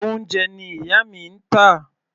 Oúnjẹ ni ìyá mi ń tà.